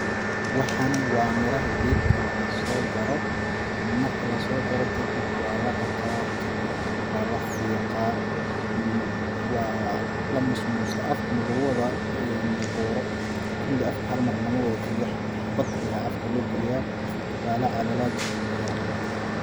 Waxani waa miraha geedka lagasoo jaro ,marki lasoo jaro kadib waa la dhaqaa kadib waa la fiiqaa ,waa la musmuustaa afka marki lagu wada booro ,kulli afka halmar lama wada galiyo xabd xabad ayaa afka loo galiyaa ,waa la calalaa ,kadib ayaa la laqaa.